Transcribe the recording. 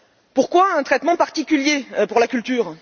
Pourquoi un traitement particulier pour la culture?